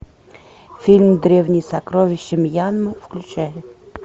фильм древние сокровища мьянмы включай